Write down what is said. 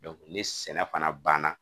ni sɛnɛ fana banna